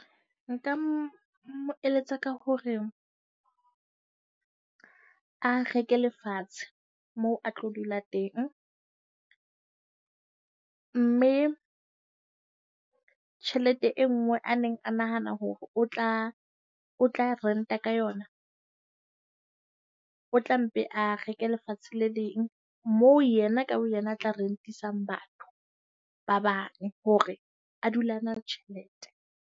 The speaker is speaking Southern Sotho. Nka mo mo eletsa ka hore a reke lefatshe moo a tlo dula teng, mme tjhelete e nngwe a neng a nahana hore o tla o tla rent-a ka yona, o tla mpe a reke lefatshe le leng. Moo yena ka boyena, a tla rent-isang batho ba bang hore a dula a na le tjhelete.